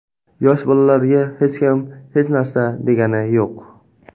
Yosh bolalarga hech kim hech narsa degani yo‘q.